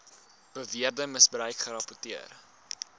beweerde misbruik gerapporteer